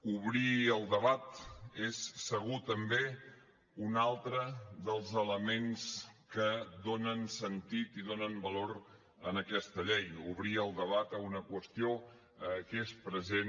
obrir el debat és segur també un altre dels elements que donen sentit i donen valor a aquesta llei obrir el debat a una qüestió que és present